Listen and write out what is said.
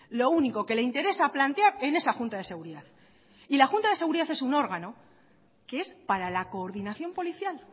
lo único que le interesa plantear en esa junta de seguridad y la junta de seguridad es un órgano que es para la coordinación policial